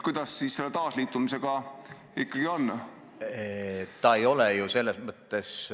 Kuidas selle taasliitumisega ikkagi on?